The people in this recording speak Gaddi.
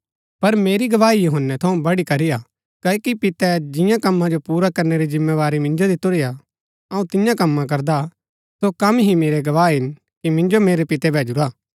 पर मेरी गवाही यूहन्‍नै थऊँ बडी करी हा क्ओकि पितै जियां कम्मा जो पुरा करनै री जिमेंबारी मिन्जो दितुरी हा अऊँ तियां कम्मा करदा सो कम ही मेरै गवाह हिन कि मिन्जो मेरै पितै भैजूरा हा